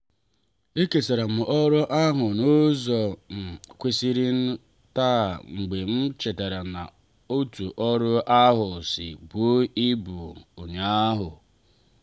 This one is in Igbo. e kesaram oru ahụ n'uzo um kwesịrịnụ taa mgbe m chetara etu ọrụ ahụ si buo ibu ụnyaahụ.